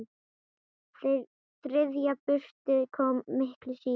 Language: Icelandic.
Þriðja burstin kom miklu síðar.